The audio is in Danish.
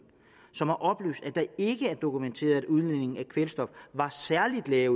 som har oplyst at det ikke er dokumenteret at udledningen af kvælstof var særlig lav